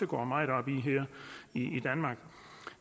går meget op i her i danmark